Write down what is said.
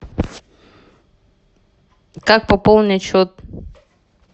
как пополнить счет